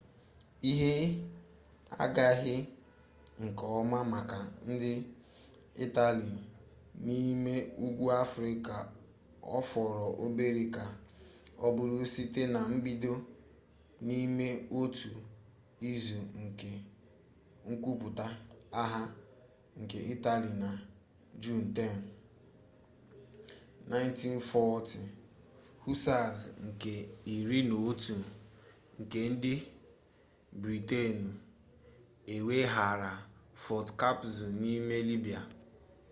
ihe agaghị nke ọma maka ndị itali n'ime ugwu afrịka ọ fọrọ obere ka ọ bụrụ site na mbido n'ime otu izu nke nkwupụta agha nke itali na juun 10 1940 hussars nke iri na otu nke ndị britenụ eweghaara fort capuzzo n'ime libya